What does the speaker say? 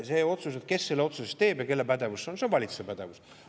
See, et kes selle otsuse siis teeb ja kelle pädevus see on: see on valitsuse pädevus.